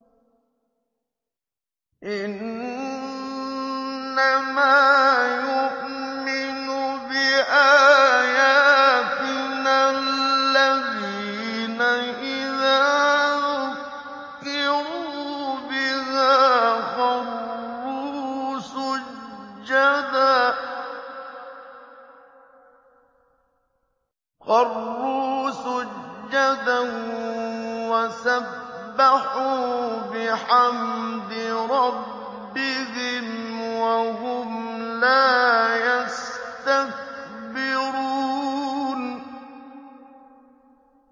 إِنَّمَا يُؤْمِنُ بِآيَاتِنَا الَّذِينَ إِذَا ذُكِّرُوا بِهَا خَرُّوا سُجَّدًا وَسَبَّحُوا بِحَمْدِ رَبِّهِمْ وَهُمْ لَا يَسْتَكْبِرُونَ ۩